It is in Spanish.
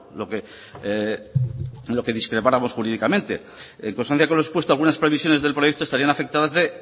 lo que discrepáramos jurídicamente en consonancia con lo expuesto algunas previsiones del proyecto estarían afectadas de